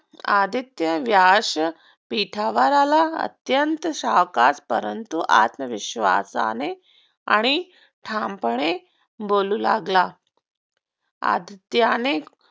आदित्य व्यासपीठावर आला अत्यंत सावकाश परंतु आत्मविश्वासाने ठामपणे बोलू लागला.